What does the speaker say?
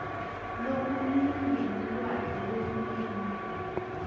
lokulingene lwati lolulingene